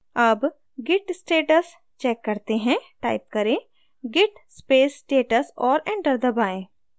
अब git status check करते हैं टाइप करें git space status और enter दबाएँ